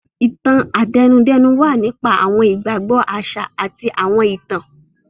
Ìtàn-àtẹnudẹ́nu wa nípa awọn igbagbọ aṣa ati awọn itan.